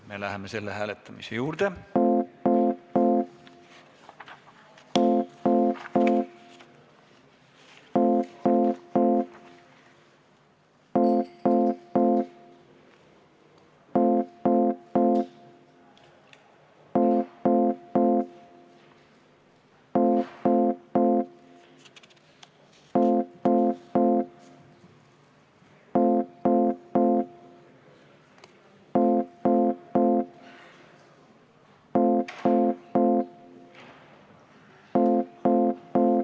Me läheme selle hääletamise juurde.